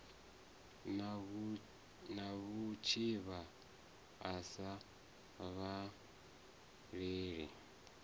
na vhutshivha a sa vhavhaleli